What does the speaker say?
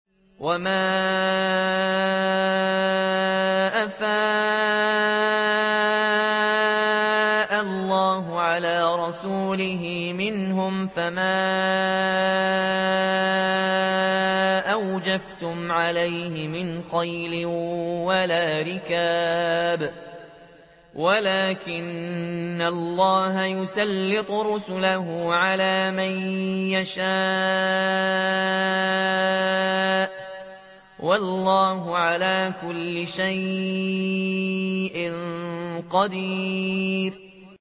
وَمَا أَفَاءَ اللَّهُ عَلَىٰ رَسُولِهِ مِنْهُمْ فَمَا أَوْجَفْتُمْ عَلَيْهِ مِنْ خَيْلٍ وَلَا رِكَابٍ وَلَٰكِنَّ اللَّهَ يُسَلِّطُ رُسُلَهُ عَلَىٰ مَن يَشَاءُ ۚ وَاللَّهُ عَلَىٰ كُلِّ شَيْءٍ قَدِيرٌ